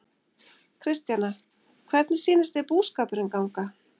Kristjana, hvernig sýnist þér búskapurinn ganga?